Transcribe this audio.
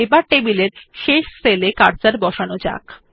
আসুন টেবিল এর শেষ সেল এ কার্সার বসানো যাক